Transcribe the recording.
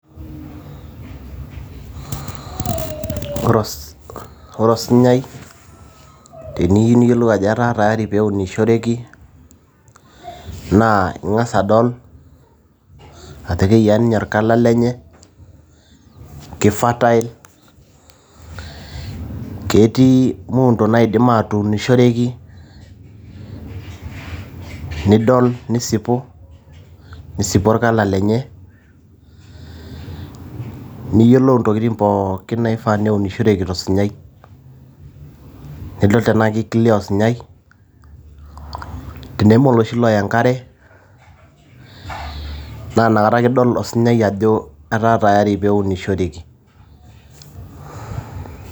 Ore osinyai teniyieu niyiolou ajo etaa tayari pee eunishoreki, naa ing'as adol ajo keyiaa ninye olkala lenye, keifertile ketii muundo naaidim atuunishoreki, nidol nisipu orkala lenye niyiolou intokiti pooki naifaa pee unishoreki tosinyai. Nidol tenaa keiclear osinyai teneme oloshi loya enkare naa inakata ake idol ilosinyai ajo etaa tayari pee einishoreki.